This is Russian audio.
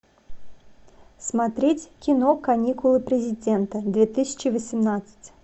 смотреть кино каникулы президента две тысячи восемнадцать